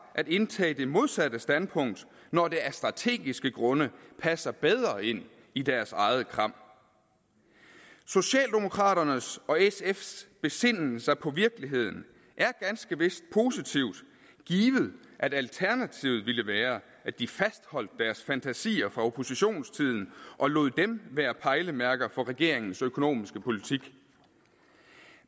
at indtage det modsatte standpunkt når det af strategiske grunde passer bedre ind i deres eget kram socialdemokraternes og sfs besinden sig på virkeligheden er ganske vist positiv givet at alternativet ville være at de fastholdt deres fantasier fra oppositionstiden og lod dem være pejlemærker for regeringens økonomiske politik